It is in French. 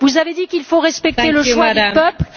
Vous avez dit qu'il faut respecter le choix du peuple.